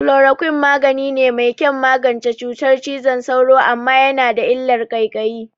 Chloroquine magani ne mai kyan magance cutar cizon sauro, amma yana da illar ƙaiƙayi.